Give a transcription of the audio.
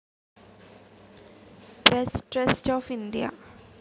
press trust of India